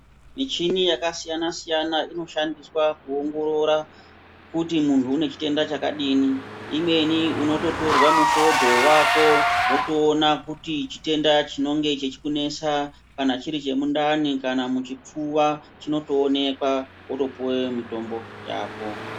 Michini yakasiyana siyana inoshandiswa kuongorora kuti munhu une chitenda chakadini. Imweni unototorwa mufodho wako wotoona kuti chitenda chinonga chechikunesa kana chiri chemundani kana muchipfuva chinotoonekwa wotopuwe mitombo yako.